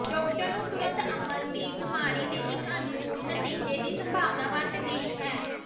doctor ਨੂੰ ਤੁਰੰਤ ਅਮਲ ਦੀ ਬਿਮਾਰੀ ਦੇ ਇੱਕ ਅਨੁਕੂਲ ਨਤੀਜੇ ਦੀ ਸੰਭਾਵਨਾ ਵੱਧ ਗਈ ਹੈ